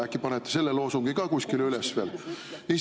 Äkki panete selle loosungi ka kuskile üles veel?